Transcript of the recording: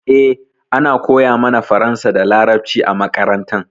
Eh, ana koya mana faransa da laraɓci a maƙaranta.